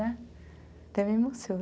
Né, até me emociona.